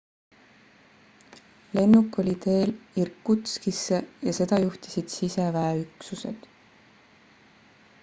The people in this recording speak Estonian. lennuk oli teel irkutskisse ja seda juhtisid siseväeüksused